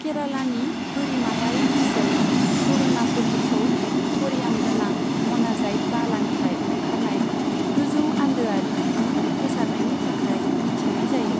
केरालानि बोरिमायारि ओनसोल करूणापल्लीखौ थ'रियाम गोनां म'नाजाइट बालानिफ्राय ओंखारनाय गोजौ आन्दोआरि बिदुं गोसारनायनि थाखाय मिथिनाय जायो।